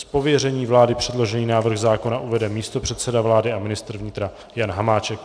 Z pověření vlády předložený návrh zákona uvede místopředseda vlády a ministr vnitra Jan Hamáček.